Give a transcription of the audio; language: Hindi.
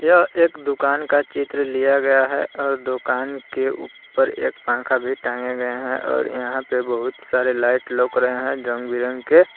यह एक दुकान का चित्र लिया गया है और दुकान के ऊपर एक पंखा भी टांगे गए हैं और यहां पे बहुत सारे लाइट लग रहे हैं रंग बिरंगी के।